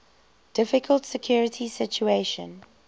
difficult security situation